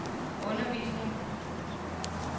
undervisning